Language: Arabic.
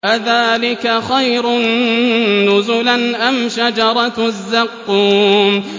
أَذَٰلِكَ خَيْرٌ نُّزُلًا أَمْ شَجَرَةُ الزَّقُّومِ